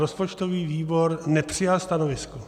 Rozpočtový výbor nepřijal stanovisko.